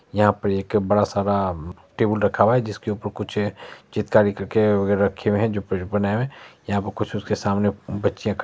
यहां पर एक बड़ा सारा टेबुल रखा हुआ है जिसके ऊपर कुछ चित्रकारी करके रखे हुए हैं जो बने हुए यहां पर कुछ उसके सामने बच्चे---